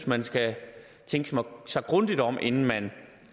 man skal tænke sig grundigt om inden man